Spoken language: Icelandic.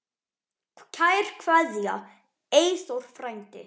Kær kveðja, Eyþór frændi.